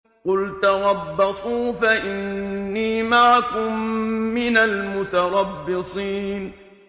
قُلْ تَرَبَّصُوا فَإِنِّي مَعَكُم مِّنَ الْمُتَرَبِّصِينَ